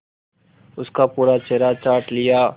उसका पूरा चेहरा चाट लिया